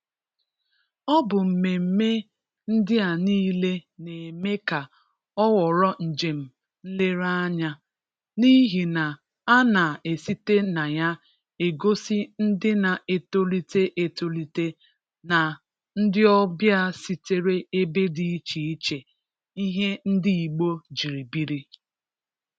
Ọ bụ mmeme ndị a niile na-eme ka ọ ghọrọ njem nlereanya, n’ihi na a na-esite na ya egosi ndị na-etolite etolite na ndị ọbịa sitere ebe dị iche iche ihe ndị Igbo ji biri.